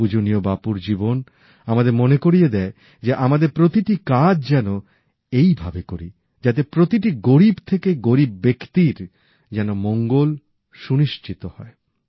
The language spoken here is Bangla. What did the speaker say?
পূজনীয় বাপুর জীবন আমাদের মনে করিয়ে দেয় যে আমাদের প্রতিটি কাজ যেন এইভাবে করি যাতে প্রতিটি গরিব থেকে গরিব ব্যক্তির যেন মঙ্গল সুনিশ্চিত হয়